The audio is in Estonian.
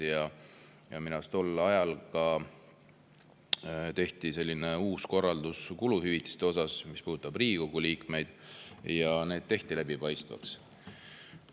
Mis puudutab Riigikogu liikmeid, siis minu arust tehti tol ajal uus korraldus ka kuluhüvitiste kohta ja need tehti läbipaistvaks.